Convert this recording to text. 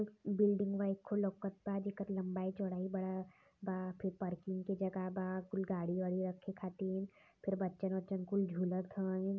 एक बिल्डिंग खूब बड़ा लौकता। जेकर लंबाई चौड़ाई बड़ा बा। फिर पार्किंग की जगह बा। कुल गाड़ी वाली रखे खातिर फिर बच्चन बच्चन कुल झुलत हवन।